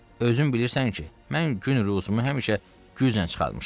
Özün bilirsən ki, mən gün-ruzumu həmişə güclə çıxarmışam.